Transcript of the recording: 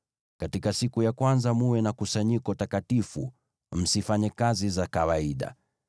Katika siku ya kwanza mtakuwa na kusanyiko takatifu, msifanye kazi za kawaida.